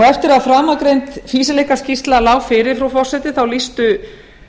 eftir að framangreind fýsileikaskýrsla lá fyrir frú forseti þá lýstu